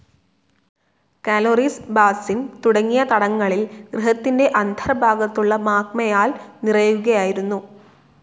Calories basin തുടങ്ങിയ തടങ്ങളിൽ ഗ്രഹത്തിൻ്റെ അന്തർഭാഗത്തുള്ള മാഗ്മയാൽ നിറയുകയായിരുന്നു.